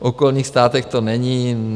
V okolních státech to není.